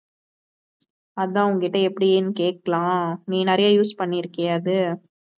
அதான் உன்கிட்ட எப்படின்னு கேக்கலாம், நீ நிறையா use பண்ணி இருக்கியா அது